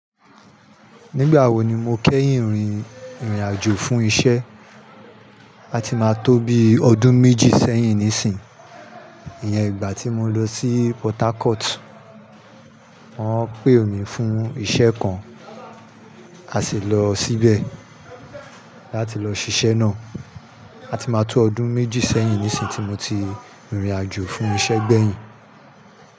Nígbà wo ni mo kẹ́yìn rìnrìn àjò fún isẹ́? A ti máa tó bí ọdún méjì sẹ́yìn nísìnyí. Ìyẹn ìgbà tí mo lọ sí Portharcourt. Wọ́n pé mi fún isẹ́ kan, a sì lọ síbẹ̀ láti lọ ṣiṣẹ́ náà. A ti máa tó ọdún méjì sẹ́yìn nísìnyí tí mo ti rìnrìn àjò fún isẹ́ gbẹ̀yìn.